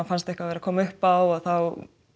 fannst eitthvað vera að koma uppá þá